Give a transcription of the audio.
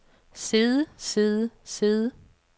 sidde sidde sidde